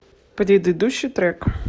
предыдущий трек